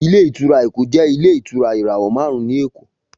Ilé ìtura Eko jẹ ilé ìtura irawọ marun ni Eko